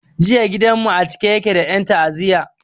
Jiya gidan mu a cike yake da en ta'aziya